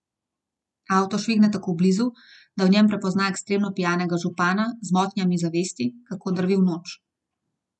Avto švigne tako blizu, da v njem prepozna ekstremno pijanega župana z motnjami zavesti, kako drvi v noč.